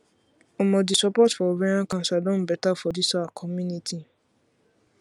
omo the support for ovarian cancer don better for this our community